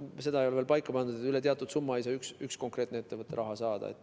mida ei ole veel paika pandud, ei saa üks ettevõte raha saada.